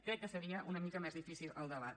crec que seria una mica més difícil el debat